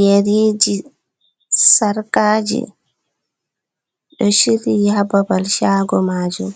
Yeriji, sarkaji do shiryi ha babal shago majum,